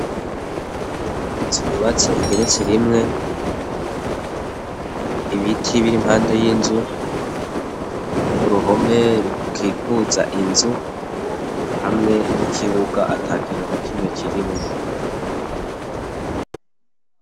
Inzu yubatse igeretse rimwe, ibiti biri impande y'inzu, uruhome rukikuza inzu hamwe n'ikibuga atakintu na kimwe kirimwo.